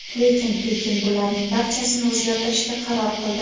Lekin Pekin bularning barchasini o‘zgartirishga qaror qildi.